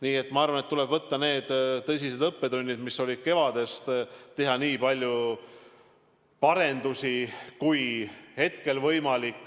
Nii et ma arvan, et tuleb võtta need tõsised õppetunnid, mis kevadel saadi, ja teha nii palju parendusi, kui hetkel on võimalik.